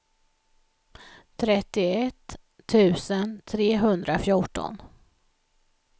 trettioett tusen trehundrafjorton